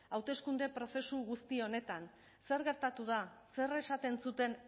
hauteskunde prozesu guzti honetan zer gertatu da zer esaten zuten